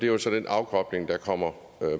jo så den afkobling der kommer